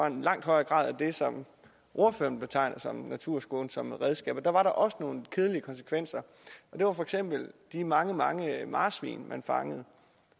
en langt højere grad af det som ordføreren betegner som naturskånsomme redskaber var der også nogle kedelige konsekvenser det var for eksempel de mange mange marsvin man fangede